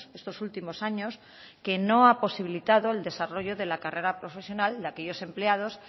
estos últimos años que no ha posibilitado el desarrollo de la carrera profesional de aquellos empleados